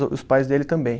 O os pais dele também.